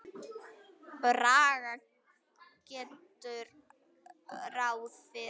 Braga gerðu ráð fyrir.